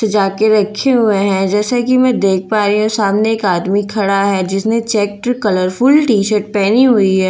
सजा के रखे हुए हैं जैसा कि मैं देख पा रही हूं सामने एक आदमी खड़ा है जिसने चेक कलरफुल टी शर्ट पहनी हुई--